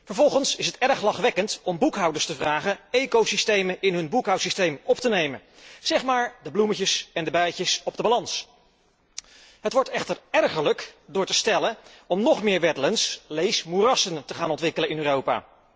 Vervolgens is het erg lachwekkend om boekhouders te vragen ecosystemen in hun boekhoudsysteem op te nemen, zeg maar de bloemetjes en de bijtjes op de balans. Het wordt echter ergerlijk, wanneer wordt gesteld dat wij nog meer wetlands lees moerassen, moeten gaan ontwikkelen in Europa.